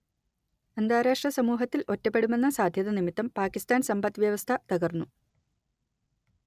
അന്താരാഷ്ട്ര സമൂഹത്തിൽ ഒറ്റപ്പെടുമെന്ന സാധ്യത നിമിത്തം പാകിസ്താൻ സമ്പദ് വ്യവസ്ഥ തകർന്നു